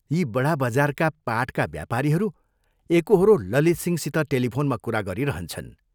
यी बडा बजारका पाटका व्यापारीहरू एकोहोरो ललितसिंहसित टेलिफोनमा कुरा गरिरहन्छन्।